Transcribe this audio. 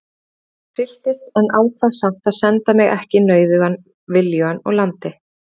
Pabbi trylltist en ákvað samt að senda mig ekki nauðugan viljugan úr landi.